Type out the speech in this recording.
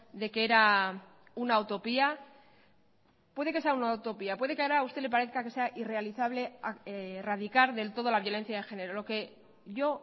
de que era una utopía puede que sea una utopía puede que ahora a usted le parezca que sea irrealizable radicar del todo la violencia de género lo que yo